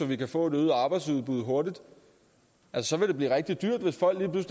vi kan få et øget arbejdsudbud hurtigt så vil det blive rigtig dyrt hvis folk lige